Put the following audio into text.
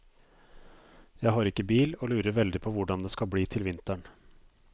Jeg har ikke bil og lurer veldig på hvordan det skal bli til vinteren.